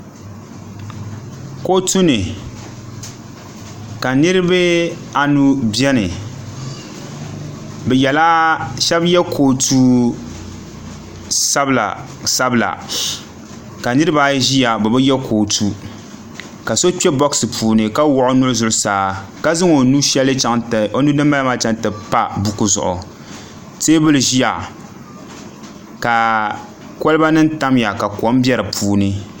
kotuni ka niribaanu bɛni bɛ yɛla shɛbi yɛ kotu sabila sabila ka niribaayi ʒɛya be bɛ yɛ kotu ka so kpɛ buɣisi puuni ka wuɣ' o nuu zuɣ' saa ka zaŋ o nuu din bala ti pa buku zuɣ' tɛbuli ʒɛya ka kolibanim tamiya ka kom bɛ di puuni